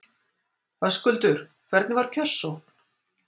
Höskuldur, hvernig var kjörsókn?